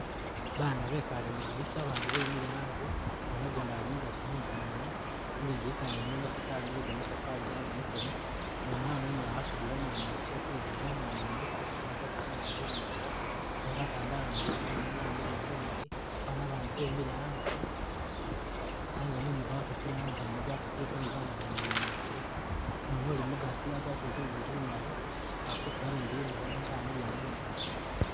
Ba bana bekale mwidinisa abandi bemile anze, umwana gundi ali mugati munzu mwene, nenga lidinisa lyene matafari lyegamatari gabonekele, ni umwana umulala asudile umwana wakye kwibega, umwana wene wesi asudile agwatile zingubo zimwanga nenga atandala ni lizuune nenga wamiliya mumoni, ba bana bandi bemile anze nenga mumu gwakasile anze ene gwakasileko ni ba bana bene abemile mwidinisa, umwana uli mugati agwatile zingubo zimali akutula ni limila nenga amiliya mumoni.